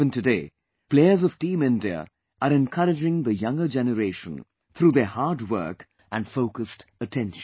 Even today, players of Team India are encouraging the younger generation through their hard work and focused attention